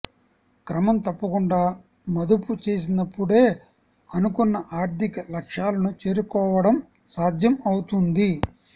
క్రమం తప్పకుండా మదుపు చేసినప్పుడే అనుకున్న ఆర్థిక లక్ష్యాలను చేరుకోవడం సాధ్యం అవుతుంది